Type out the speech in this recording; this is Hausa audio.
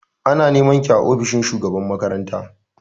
Ana nema ki a ofishin shugaban makaranta!